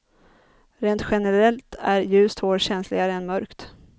Rent generellt är ljust hår känsligare än mörkt.